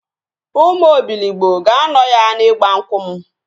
Ụmụ Obiligbo ga-anọ ya n'igba nkwụ m